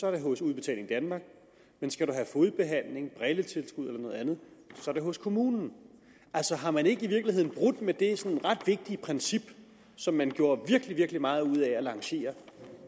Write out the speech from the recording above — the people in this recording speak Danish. er det hos udbetaling danmark men skal du have fodbehandling brilletilskud eller noget andet er det hos kommunen har man i virkeligheden ikke brudt med det ret vigtige princip som man gjorde virkelig meget ud af at lancere